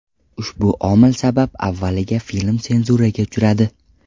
Ushbu omil sabab avvaliga film senzuraga uchradi.